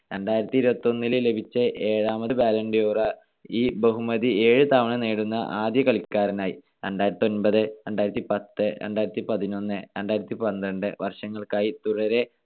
രണ്ടായിരത്തിയിരുപത്തൊന്നിൽ ലഭിച്ച ഏഴാമത് balloon D or ഈ ബഹുമതി ഏഴുതവണ നേടുന്ന ആദ്യ കളിക്കാരനായി. രണ്ടായിരത്തിയൊൻപത്, രണ്ടായിരത്തിപത്ത്, രണ്ടായിരത്തിപതിനൊന്ന്, രണ്ടായിരത്തിപന്ത്രണ്ട് വർഷങ്ങൾക്കായി തുടരെ